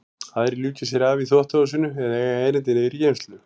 Aðrir ljúka sér af í þvottahúsinu eða eiga erindi niður í geymslu.